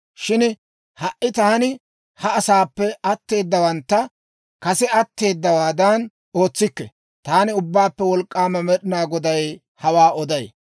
Shin ha"i taani ha asaappe atteedawantta kase ootseeddawaadan ootsikke. Taani Ubbaappe Wolk'k'aama Med'inaa Goday hawaa oday.